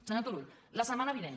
senyor turull la setmana vinent